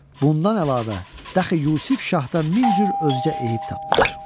Bundan əlavə, dəxi Yusif şahdan min cür özgə eyib tapdılar.